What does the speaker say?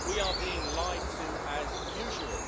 We are being lied to, as usual.